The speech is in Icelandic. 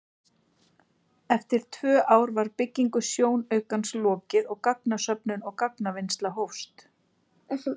Eftir tvö ár var byggingu sjónaukans lokið og gagnasöfnun og gagnavinnsla hófst.